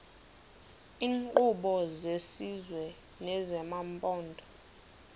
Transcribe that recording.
iinkqubo zesizwe nezamaphondo